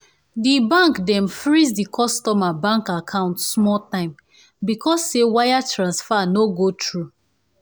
the bank dem freeze the customer bank account small time because say wire transfer no go through.